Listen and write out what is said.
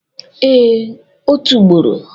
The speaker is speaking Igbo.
Ee, otu ugboro.